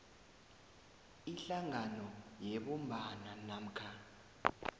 ihlangano yebumbano namkha